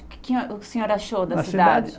O que que o senhor achou da cidade?